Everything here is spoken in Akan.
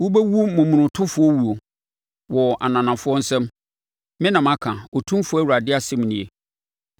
Wobɛwu momonotofoɔ wuo wɔ ananafoɔ nsam. Me na maka, Otumfoɔ Awurade asɛm nie.’ ”